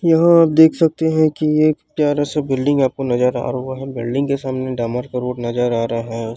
यहाँ आप देख सकते हे की एक प्यारा सा बिल्डिंग आपको नज़र आ रहा हे बिल्डिंग के सामने डामर का रोड नज़र आ रहा हे।